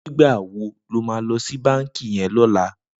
Nigbá wó ló mà lò si bànkí yèn lòlá?